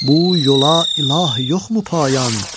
Bu yola ilahi yoxmu payan?